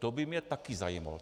To by mě taky zajímalo.